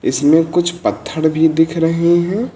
इसमें कुछ पत्थर भी दिख रहे हैं।